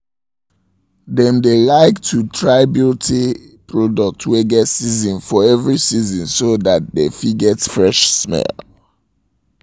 them dae like to try beauty products wae get season for every season so that dem fit get fresh smell